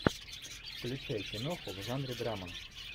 включай киноху в жанре драма